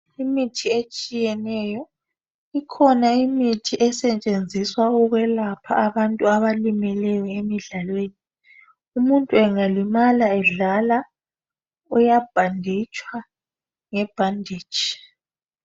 Imithi etshiyeneyo. Ikhona imithi esetshenziswa ukwelapha abantu abalimeleyo emidlalweni. Umuntu angalimala edlala uyabhanditshwa ngebhanditshi .